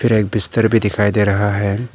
फिर एक बिस्तर भी दिखाई दे रहा है।